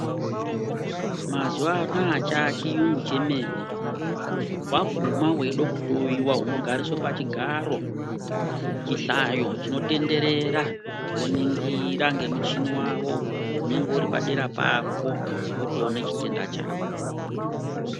Mazuva anoaya chaya chiyungu chemene waguma weida kuhloyiwa unoguma wogariswa pachigaro chihlayo chinotenderera voningira ngemuchini unenge urri padera pako wotoona chitenda chako.